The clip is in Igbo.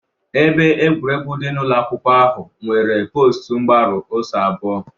Ebe egwuregwu dị n'ụlọ akwụkwọ ahụ nwere post mgbaru ọsọ abụọ